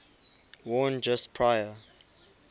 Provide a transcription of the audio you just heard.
worn just prior